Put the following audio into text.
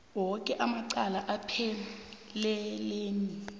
woke amacala aphethelene